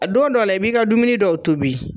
A don dɔw la i b'i ka dumuni dɔw tobi.